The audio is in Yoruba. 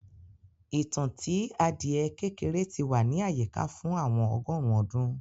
ìtàn tí adiẹ kékeré tí wà ní àyíká fún àwọn ọgọrùn ọdún